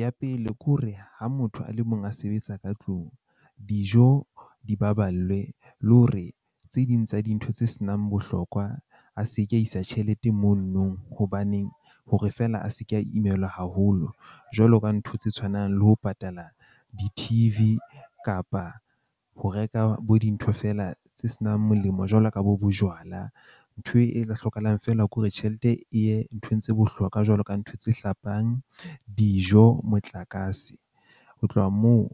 Ya pele ke hore ha motho a le mong a sebetsa ka tlung, dijo di baballwe le hore tse ding tsa dintho tse senang bohlokwa a se ke isa tjhelete mono nong. Hobaneng hore feela a se ke a imelwa haholo jwalo ka ntho tse tshwanang le ho patala di-T_V kapa ho reka bo dintho feela tse senang molemo jwalo ka bo bojwala. Ntho e tla hlokahalang feela ke hore tjhelete e ye nthong tse bohlokwa jwalo ka ntho hlapang, dijo, motlakase. Ho tloha moo,